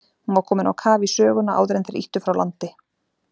Hún var komin á kaf í söguna áður en þeir ýttu frá landi.